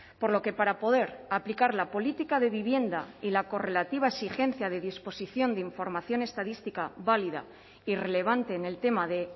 por lo que para poder aplicar la política de vivienda y la correlativa exigencia de disposición de información estadística válida irrelevante en el tema de